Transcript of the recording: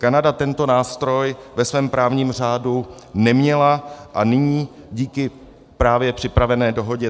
Kanada tento nástroj ve svém právním řádu neměla a nyní díky právě připravené dohodě